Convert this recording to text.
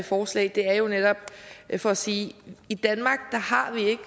forslag er jo netop for sige i danmark har vi ikke